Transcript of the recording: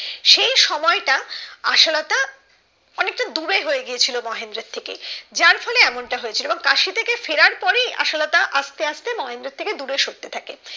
এই সময়টা আসলটা অনেকটা দূরে হয়ে গিয়েছিলো মহেন্দ্রর থেকে যার ফলে এমনটা হয়েছিল এবং কাশি থেকে ফেরার পরে আশালতা আস্তে আস্তে মহেন্দ্রের থেকে দূরে সরতে থাকে